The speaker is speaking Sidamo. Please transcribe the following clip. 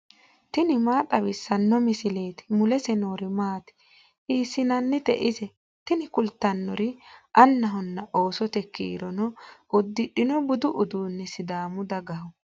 tini maa xawissanno misileeti ? mulese noori maati ? hiissinannite ise ? tini kultannori annahonna oosote kurino uddidhino budu uduunni sidaamu dagaho.